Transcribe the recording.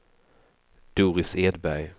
Doris Edberg